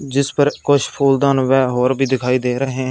जिस पर कुछ फूलदान वे और भी दिखाई दे रहे हैं।